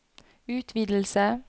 utvidelse